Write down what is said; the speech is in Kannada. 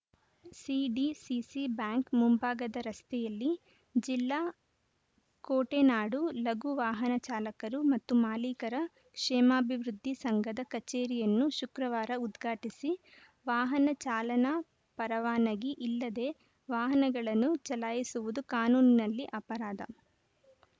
ಸಿಡಿಸಿಸಿ ಬ್ಯಾಂಕ್‌ ಮುಂಭಾಗದ ರಸ್ತೆಯಲ್ಲಿ ಜಿಲ್ಲಾ ಕೋಟೆನಾಡು ಲಘು ವಾಹನ ಚಾಲಕರು ಮತ್ತು ಮಾಲೀಕರ ಕ್ಷೇಮಾಭಿವೃದ್ಧಿ ಸಂಘದ ಕಚೇರಿಯನ್ನು ಶುಕ್ರವಾರ ಉದ್ಘಾಟಿಸಿ ವಾಹನ ಚಾಲನಾ ಪರವಾನಗಿ ಇಲ್ಲದೆ ವಾಹನಗಳನ್ನು ಚಲಾಯಿಸುವುದು ಕಾನೂನಿನಲ್ಲಿ ಅಪರಾಧ